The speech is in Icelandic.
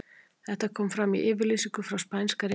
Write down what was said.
Þetta kom fram í yfirlýsingu frá Spænska réttinum.